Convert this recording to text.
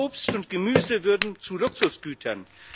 auch Obst und Gemüse würden zu Luxusgütern.